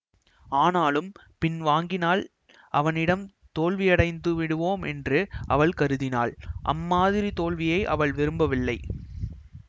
ஆனாலும் பின் வாங்கினால் அவனிடம் தோல்வியடைந்துவிடுவோமென்று அவள் கருதினாள் அம்மாதிரி தோல்வியை அவள் விரும்பவில்லை